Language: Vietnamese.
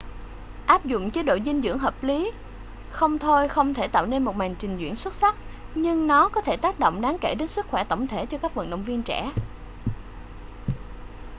áp dụng chế độ dinh dưỡng hợp lý không thôi không thể tạo nên một màn trình diễn xuất sắc nhưng nó có thể tác động đáng kể đến sức khỏe tổng thể cho các vận động viên trẻ